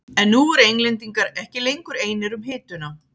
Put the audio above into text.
En nú voru Englendingar ekki lengur einir um hituna.